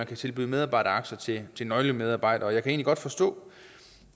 kan tilbydes medarbejderaktier til nøglemedarbejdere jeg kan egentlig godt forstå